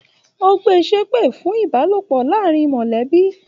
O gbé ṣepe fún ìbálòpọ̀ láàrín mọlẹbi.